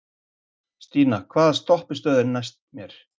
Stína, hvaða stoppistöð er næst mér?